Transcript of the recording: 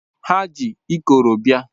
Ha ji ịkọrọ bia